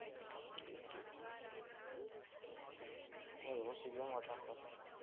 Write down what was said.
அப்புறம் யோசிக்கவே மாட்டாங்கடா